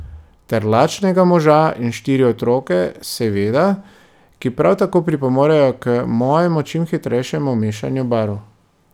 Ter lačnega moža in štiri otroke, seveda, ki prav tako pripomorejo k mojemu čim hitrejšemu mešanju barv.